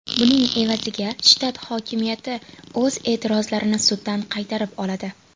Buning evaziga shtat hokimiyati o‘z e’tirozlarini suddan qaytarib oladi.